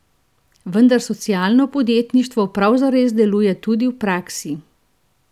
Vendar socialno podjetništvo prav zares deluje tudi v praksi!